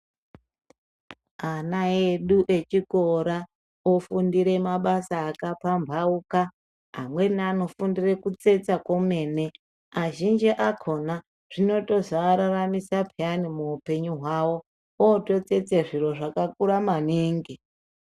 Ana edu echikora ofundire mabasa akapambauka amweni anofundire kutsetsa kwemene azhinji akhona zvinotozoararamisa paani muupenyu hwavo ototsetse zviro zvakakura maningi.